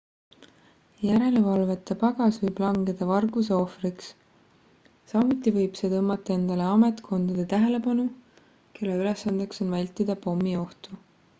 järelevalveta pagas võib langeda varguse ohvriks samuti võib see tõmmata endale ametkondade tähelepanu kelle ülesandeks on vältida pommiohtu